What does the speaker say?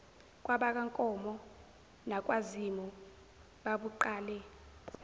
kwabakankomo nakwazimu babuqale